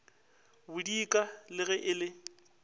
bodika le ge e le